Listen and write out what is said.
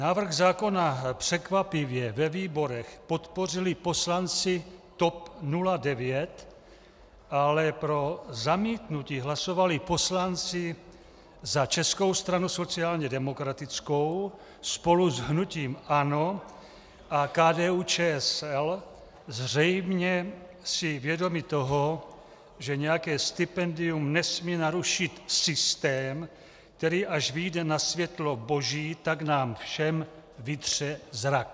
Návrh zákona překvapivě ve výborech podpořili poslanci TOP 09, ale pro zamítnutí hlasovali poslanci za Českou stranu sociálně demokratickou spolu s hnutím ANO a KDU-ČSL, zřejmě si vědomi toho, že nějaké stipendium nesmí narušit systém, který až vyjde na světlo boží, tak nám všem vytře zrak.